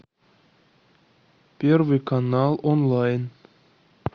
первый канал онлайн